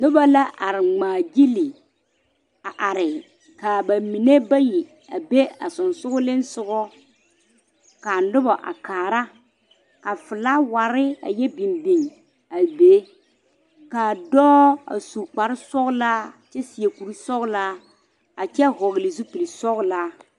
Noba la are ŋmaa gyile a are ka ba mime bayi a be a sogaŋ a noba a kaara ka felaaware a yɛ biŋ biŋ a be a dɔɔ a su kpar sɔgelaa kyɛ seɛ kuri sɔgelaa a kyɛ vɔgele zupili sɔglaa